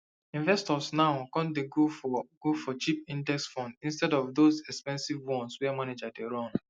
investors now con dey go for go for cheap index funds instead of those expensive ones wey manager dey run